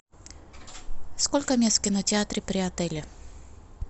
сколько мест в кинотеатре при отеле